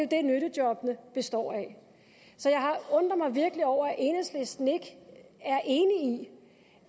det nyttejobbene består af så jeg undrer mig virkelig over at enhedslisten ikke